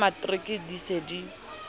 ba matriki di se di